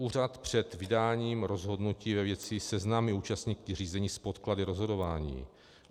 Úřad před vydáním rozhodnutí ve věci seznámí účastníky řízení s podklady rozhodování.